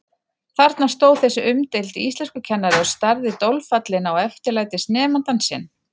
Þarna stóð þessi umdeildi íslenskukennari og starði dolfallinn á eftirlætisnemandann sinn.